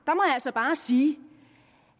altså bare sige